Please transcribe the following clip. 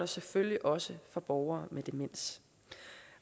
selvfølgelig også for borgere med demens